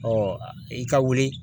i ka wuli